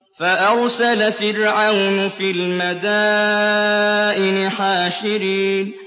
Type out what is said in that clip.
فَأَرْسَلَ فِرْعَوْنُ فِي الْمَدَائِنِ حَاشِرِينَ